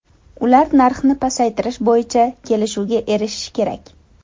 Ular narxni pasaytirish bo‘yicha kelishuvga erishishi kerak.